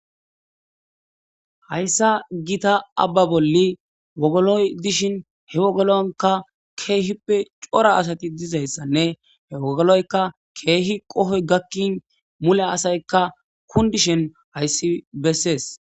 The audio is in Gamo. hayssa gita abba bolli wogoloy dishin he wogolonka keehippe cora asati dizayssanne he wogoloyka keehi qohoy gakkin mule asaykka kundishen hayssi bessees